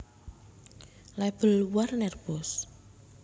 Label Warner Bros